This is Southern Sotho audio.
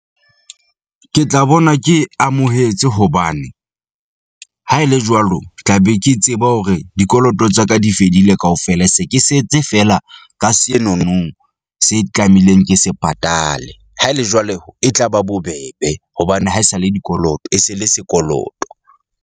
Ke tla bonwa ke amohetse hobane ha e le jwalo tla be ke tseba hore dikoloto tsa ka di fedile kaofela. Se ke setse feela ka seno no se tlameileng ke se patale. Ha e le jwalo e tla ba bobebe hobane haesale dikoloto e se le sekoloto.